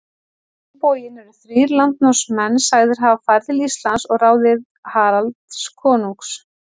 Á hinn bóginn eru þrír landnámsmenn sagðir hafa farið til Íslands að ráði Haralds konungs.